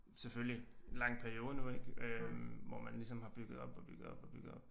Selvfølgelig en lang periode nu ik øh hvor man ligesom har bygget op og bygget op og bygget op